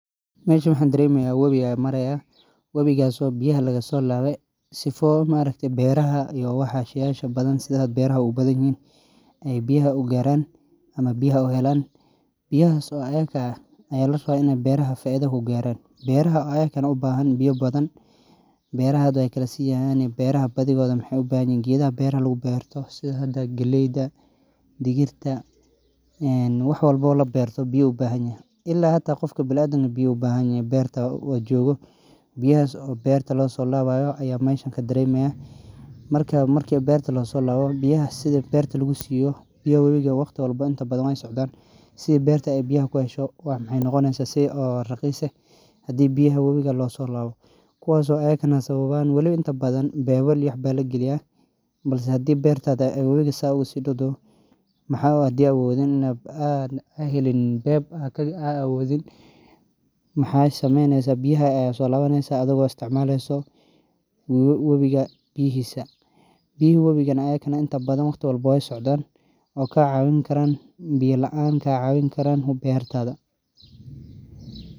Meshan waxaa daremi haya wowi biyaha laga solaqe oo larawa in ee biyaha garan gedhaha labero sitha galeyda digirta biya laan manolanayan hata bila adanka maxaa hada helin beb waxaa solawaneysa biyaha wowiga adhiga oo solabsaneyso hu ahan marka waa in aa solawata biyo qiyas ah oo berta kafin karan sas ayey muhiim u tahay dadkana wrong Weykafini karan anigana wan jeclelehe sawabto ah waa biya wowi qofkista aya u bahan.